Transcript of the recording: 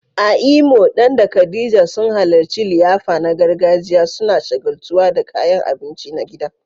A Imo, Dan da Khadija sun halarci liyafa na gargajiya, suna shagaltuwa da kayan abinci na gida.